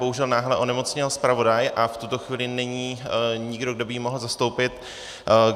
Bohužel náhle onemocněl zpravodaj a v tuto chvíli není nikdo, kdo by ji mohl zastoupit.